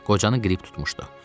Qocanı qrip tutmuşdu.